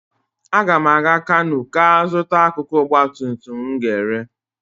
Aga m aga Kanú gaa zụta akụkụ ọgbatumtum m ga-ere.